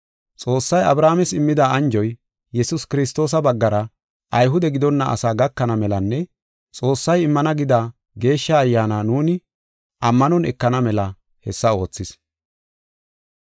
Xoossay Abrahaames immida anjoy, Yesuus Kiristoosa baggara Ayhude gidonna asaa gakana melanne Xoossay immana gida Geeshsha Ayyaana nuuni ammanon ekana mela hessa oothis.